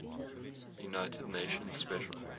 united nations special